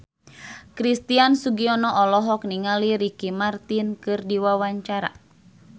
Christian Sugiono olohok ningali Ricky Martin keur diwawancara